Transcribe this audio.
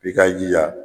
I k'i jija